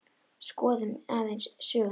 Skoðum aðeins söguna.